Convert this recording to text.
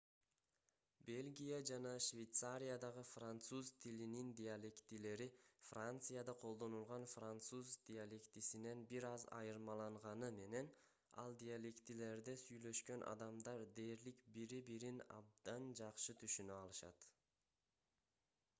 бельгия жана швейцариядагы француз тилинин диалектилери францияда колдонулган француз диалектисинен бир аз айырмаланганы менен ал диалектилерде сүйлөшкөн адамдар дээрлик бири-бирин абдан жакшы түшүнө алышат